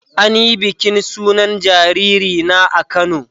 An yi bikin sunan jariri na a Kano.